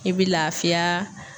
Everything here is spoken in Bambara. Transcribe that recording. I bi lafiyaa